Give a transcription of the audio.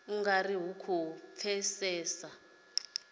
u nga ri khou pfesesa